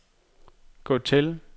gå til